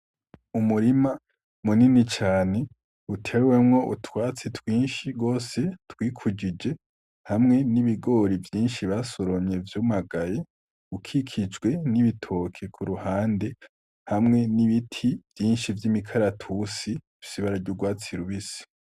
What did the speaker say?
Umurima munini cane utewemwo utwatsi twinshi gos twikujije, hamwe n'ibigori vyinshi basoromye vyumagaye, ukikijwe n'ibitoke kuruhande hamwe n'ibiti vyinshi vy'imikaratusi ,bifise ibara ry'urwatsi rubisi.